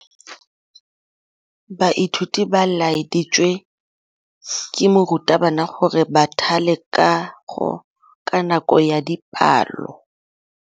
Baithuti ba laeditswe ke morutabana gore ba thale kagô ka nako ya dipalô.